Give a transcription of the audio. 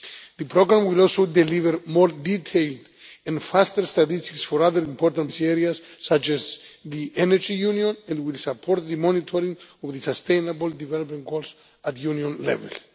The programme will also deliver more detailed and faster statistics for other important policy areas such as the Energy Union and will support the monitoring of the Sustainable Development Goals at Union level.